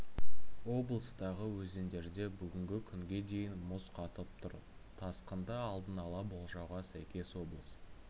облыстағы өзендерде бүгінгі күнге дейін мұз қатып тұр тасқынды алдын ала болжауға сәйкес облыс